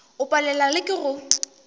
o palelwa le ke go